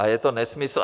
A je to nesmysl.